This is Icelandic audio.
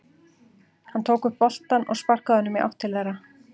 Hann tók upp boltann og sparkaði honum í átt til þeirra.